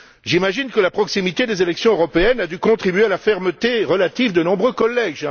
J'imagine que la proximité des élections européennes a dû contribuer à la fermeté relative de nombreux collègues.